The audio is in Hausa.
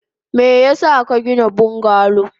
Meyasa kagina bungalow?